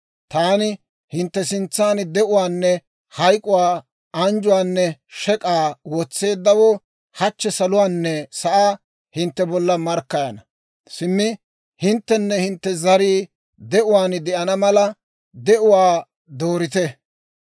«Taani hintte sintsan de'uwaanne hayk'uwaa, anjjuwaanne shek'k'aa wotseeddawoo hachchi saluwaanne sa'aa hintte bolla markkayana; simmi hinttenne hintte zarii de'uwaan de'ana mala, de'uwaa doorite.